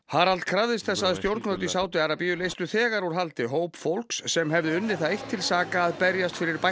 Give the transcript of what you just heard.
Harald krafðist þess að stjórnvöld í Sádi Arabíu leystu þegar úr haldi hóp fólks sem hefði unnið það eitt til saka að berjast fyrir